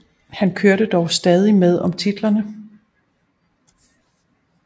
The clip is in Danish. Han kørte dog stadig med om titlerne